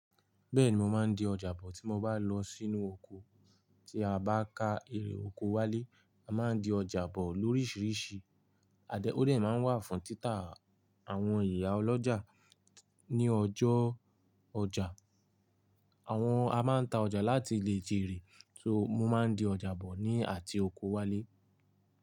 Bẹ́ẹ̀ni mo máa ń di ọjà bọ̀ tí mo bá lọ sínú oko tí a bá ka èrè oko wálé. A máa ń di ọjà bọ̀ lóríṣiríṣi. Adé, ó de máa ń wà fún títà àwọn ìyá ọlọ́jà ní ọjọ́ ọjà. Àwọn a máa ń ta ọjà láti ilẹ̀ jèrè. So mo máa ń di ọjà bọ̀ ni àti oko wálé.